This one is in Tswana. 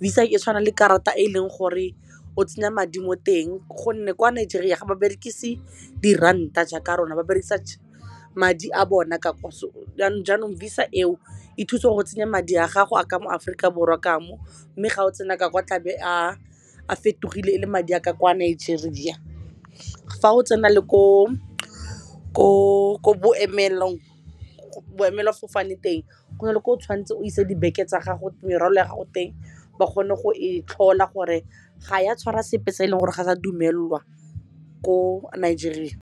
visa e tshwana le karata e e leng gore o tsenya madi mo teng gonne kwa Nigeria ga ba berekise di ranta jaaka rona ba berekisa madi a bona yanong jaanong eo e thusa go tsenya madi a gago a ka mo Aforika Borwa kamo mme ga o tsena ka kwa tlabe a fetogile e le madi a ka kwa Nigeria, fa o tsena le ko boemelafofane teng go na le ko o tshwanetse o isa merwolo ya gago teng ba kgone go e tlhola gore ga ya tshwara sepe tse e leng gore ga wa dumelelwa ko Nigeria.